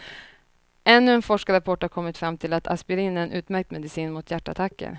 Ännu en forskarrapport har kommit fram till att aspirin är en utmärkt medicin mot hjärtattacker.